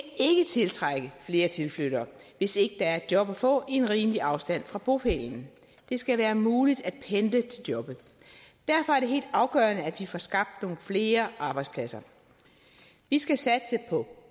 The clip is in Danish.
tiltrække flere tilflyttere hvis ikke der er et job at få i en rimelig afstand fra bopælen det skal være muligt at pendle til jobbet derfor er det helt afgørende at vi får skabt nogle flere arbejdspladser vi skal satse på